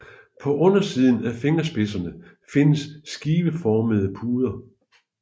På undersiden af fingerspidserne findes skiveformede puder